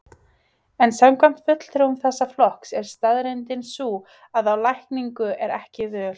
En samkvæmt fulltrúum þessa flokks er staðreyndin sú að á lækningu er ekki völ.